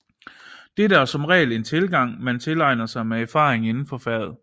Dette er som regel en tilgang man tilegner sig med erfaring indenfor faget